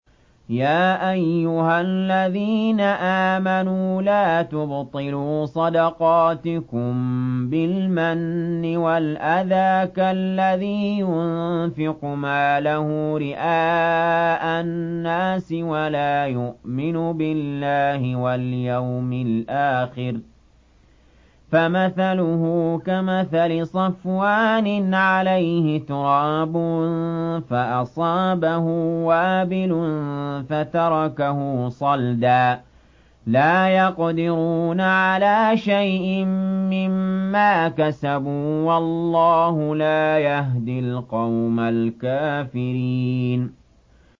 يَا أَيُّهَا الَّذِينَ آمَنُوا لَا تُبْطِلُوا صَدَقَاتِكُم بِالْمَنِّ وَالْأَذَىٰ كَالَّذِي يُنفِقُ مَالَهُ رِئَاءَ النَّاسِ وَلَا يُؤْمِنُ بِاللَّهِ وَالْيَوْمِ الْآخِرِ ۖ فَمَثَلُهُ كَمَثَلِ صَفْوَانٍ عَلَيْهِ تُرَابٌ فَأَصَابَهُ وَابِلٌ فَتَرَكَهُ صَلْدًا ۖ لَّا يَقْدِرُونَ عَلَىٰ شَيْءٍ مِّمَّا كَسَبُوا ۗ وَاللَّهُ لَا يَهْدِي الْقَوْمَ الْكَافِرِينَ